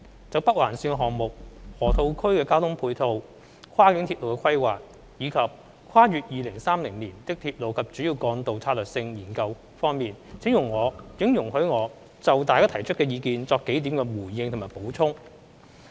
就北環綫項目、河套區的交通配套、跨境鐵路規劃，以及《跨越2030年的鐵路及主要幹道策略性研究》方面，請容許我就大家提出的意見作數點回應及補充。